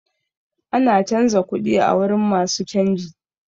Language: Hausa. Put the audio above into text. Ana canza kuɗi a wurin masu canji.